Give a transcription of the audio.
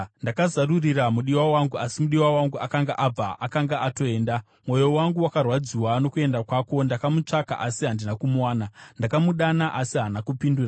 Ndakazarurira mudiwa wangu, asi mudiwa wangu akanga abva; akanga atoenda. Mwoyo wangu wakarwadziwa nokuenda kwake. Ndakamutsvaka asi handina kumuwana. Ndakamudana asi haana kupindura.